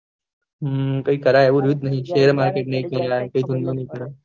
હમ કઈકરાય એવું રહ્યું જ નહી છે